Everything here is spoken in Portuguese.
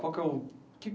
Qual que é o...que